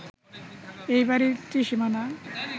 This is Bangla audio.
এ বাড়ির ত্রিসীমানা